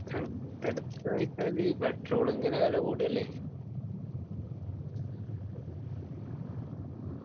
അങ്ങത്തെ എടുക്കാ വെച്ചാല് petrol ഇങ്ങനെ വില കൂടല്ലേ